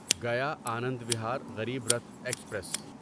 گیا آنند وہار غریب رتھ ایکسپریس